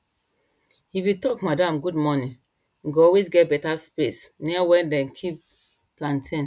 if you talk madam good morning you go always get better space near where dem keep plantain